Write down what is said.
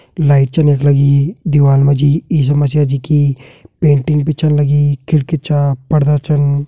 Light चन यख लगीं दीवाल मा जी ईशा मसीहा जी की पेंटिंग भी छन लगीं खिड़की छा पर्दा छन।